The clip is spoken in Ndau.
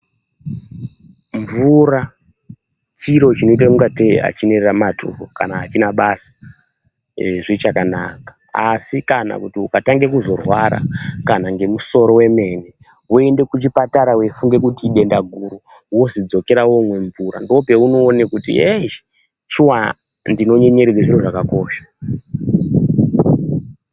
Mvura chiro chinoita ingatei hachina maturo kana hachina basa zvichakanaka, asi kana kuti ukatange kuzorwara kana ngemusoro wemene woende kuchipatara weifunga kuti idenda guru, wozi dzokera unomwe mvura. Ndoopaunoona kuti heyi, shuwa ndinonyenyeredze zviro zvakakosha.